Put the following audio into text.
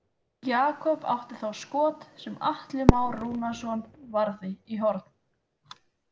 Jakob átti þá skot sem Atli Már Rúnarsson varði í horn.